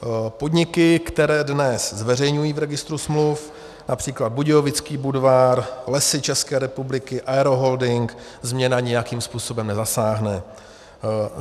Podniky, které dnes zveřejňují v registru smluv, například Budějovický Budvar, Lesy České republiky, Aeroholding, změna nijakým způsobem nezasáhne.